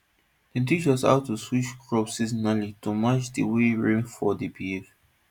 dem teach us how to switch crops seasonally to match di way rainfall dey behave